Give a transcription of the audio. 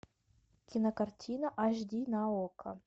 кинокартина аш ди на окко